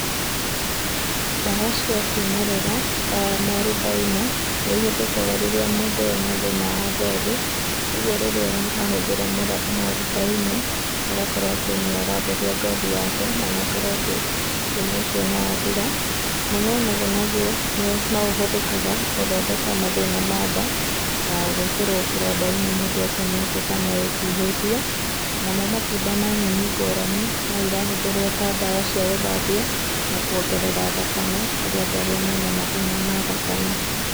Ndawa cia kĩmerera, ta mwarubaine, nĩ ihũthĩkaga rĩrĩa mũndũ ena thĩna wa ngothi. Koguo rĩrĩa ahũthĩra mwarubaine, agakorwo atĩ nĩ aratheria ngothi yake, na agakorwo atĩ thĩna ũcio nĩ wathira. Mũnuanũgũ naguo, nĩ no ũhũthĩkaga, gũthondeka mathĩna ma nda, na gwĩkĩrwo kĩronda-inĩ mũndũ etemete kana etihĩtie. Namo matunda na nyeni ngũrani, no irahũthĩrwo ta ndawa cia gũthambia, na kuongerera thakame, kũrĩ andũ arĩa mena mathĩna ma thakame.